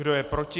Kdo je proti?